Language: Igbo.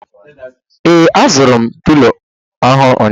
Ee, azụrụ m Pilo ọhụrụ ụnyaahụ